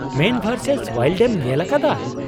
ᱢᱮᱱ versus wild ᱮᱢ ᱧᱮᱞ ᱟᱠᱟᱫᱟ ?